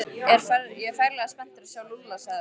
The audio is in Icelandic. Ég er ferlega spenntur að sjá Lúlla sagði Örn.